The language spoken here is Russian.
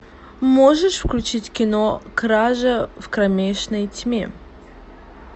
можешь включить кино кража в кромешной тьме